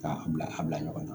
K'a bila a bila ɲɔgɔn na